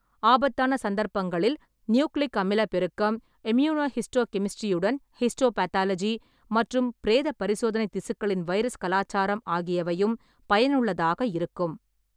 ஆபத்தான சந்தர்ப்பங்களில், நியூக்ளிக் அமில பெருக்கம், இம்யூனோஹிஸ்டோகெமிஸ்ட்ரியுடன் ஹிஸ்டோபாத்தாலஜி, மற்றும் பிரேத பரிசோதனை திசுக்களின் வைரஸ் கலாச்சாரம் ஆகியவையும் பயனுள்ளதாக இருக்கும்.